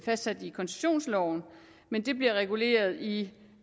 fastsat i koncessionsloven men det bliver reguleret i